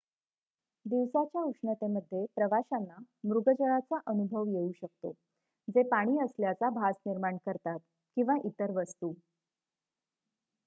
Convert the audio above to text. दिवसाच्या उष्णतेमध्ये प्रवाशांना मृगजळाचा अनुभव येऊ शकतो जे पाणी असल्याचा भास निर्माण करतात किंवा इतर वस्तू